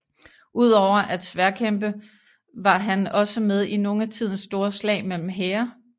Ud over at sværdkæmpe var han også med i nogle af tidens store slag mellem hære